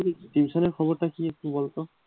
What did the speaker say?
Tution এর খবরটা কি একটু বলত,